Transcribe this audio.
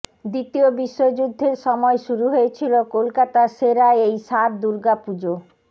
দ্বিতীয় বিশ্বযুদ্ধের সময় শুরু হয়েছিল কলকাতার সেরা এই সাত দুর্গাপুজো